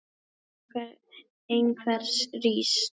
Stjarna einhvers rís